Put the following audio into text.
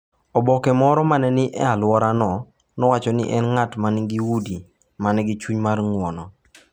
Oboke moro ma ne ni e alworano nowacho ni en ng’at ma nigi udi ma nigi chuny mar ng’wono.